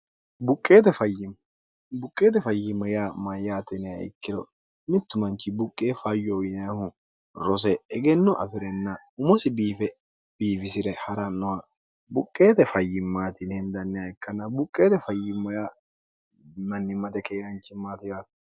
buqqeete fayyimmo yaa mayyaatiniha ikkiro mittu manchi buqqe fayyo uyinaahu rose egenno afi'renna umosi biife biifisi're ha'rannoha buqqeete fayyimmaatini hindanniha ikkanna buqqeete fayyimmo ya mannimmate keenanchimmaatiwaati